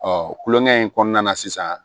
kulonkɛ in kɔnɔna na sisan